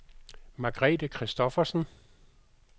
Margrethe Christoffersen